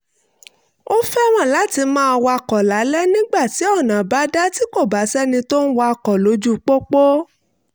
ó fẹ́ràn láti máa wakọ̀ lálẹ́ nígbà tí ọ̀nà bá dá tí kò bá sẹ́ni tó ń wakọ̀ lójú pópó